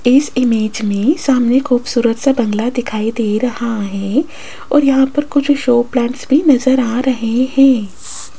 इस इमेज में सामने खूबसूरत सा बंगला दिखाई दे रहा है और यहां पर कुछ शो प्लांट्स भी नजर आ रहे हैं।